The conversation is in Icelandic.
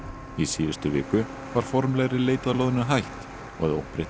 í síðustu viku var formlegri leit að loðnu hætt og að óbreyttu